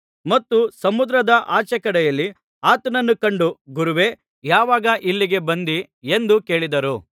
ಮತ್ತು ಸಮುದ್ರದ ಆಚೆಕಡೆಯಲ್ಲಿ ಆತನನ್ನು ಕಂಡು ಗುರುವೇ ಯಾವಾಗ ಇಲ್ಲಿಗೆ ಬಂದಿ ಎಂದು ಕೇಳಿದರು